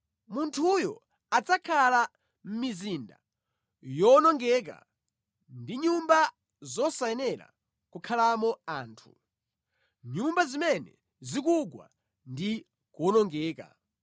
munthuyo adzakhala mʼmizinda yowonongeka ndi mʼnyumba zosayenera kukhalamo anthu, nyumba zimene zikugwa ndi kuwonongeka.